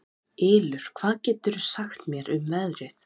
Ylur, hvað geturðu sagt mér um veðrið?